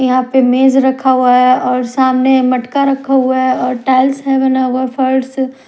यहां पे मेज रखा हुआ है और सामने मटका रख हुआ है और टाइल्स से बना हुआ फर्श--